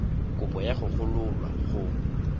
kopo ya go gololwa go